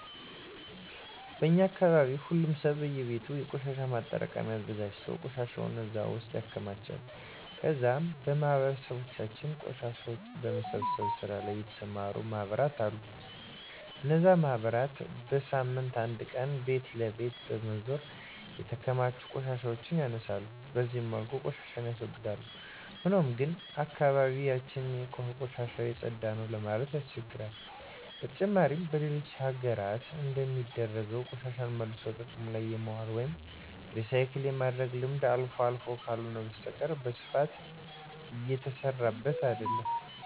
በእኛ አካባቢ ሁሉም ሰው በእየቤቱ የቆሻሻ ማጠራቀሚያ አዘጋጅቶ ቆሻሻውን እዛ ውስጥ ያከማቻል ከዛም በማህበረሰባችን ቆሻሻን በመሰብሰብ ስራ ላይ የተሰማሩ ማህበራት አሉ። እነዚህ ማህበራት በሳምንት አንድ ቀን ቤት ለቤት በመዞር የተከማቹ ቆሻሻዎችን ያነሳሉ። በዚህ መልኩ ቆሻሻን ያስወግዳል። ሆኖም ግን አካባቢ ያችን ከቆሻሻ የፀዳ ነው ለማለት ያስቸግራል። በተጨማሪም በሌሎች ሀገራት እንደሚደረገው ቆሻሻን መልሶ ጥቅም ላይ የማዋል ወይም ሪሳይክል የማድረግ ልምድ አልፎ አልፎ ካልሆነ በስተቀረ በስፋት እየተሰራበት አይደለም።